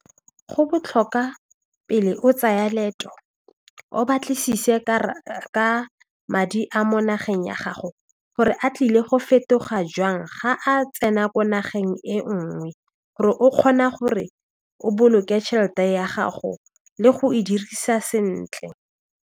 Go botlhoka pele o tsaya leeto o batlisise ka madi a mo nageng ya gago gore a tlile go fetoga jang ga a tsena ko nageng e nngwe gore o kgona gore o boloke tšhelete ya gago le go e dirisa sentle.